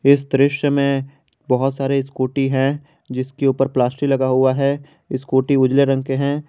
इस दृश्य में बहोत सारे स्कूटी है जिसके ऊपर प्लास्टिक लगा हुआ है स्कूटी उजले रंग के हैं।